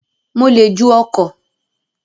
Mo le ju ọkọ̀